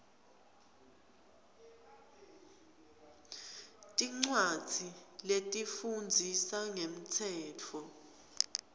tincwadzi letifundzisa ngemtsetfo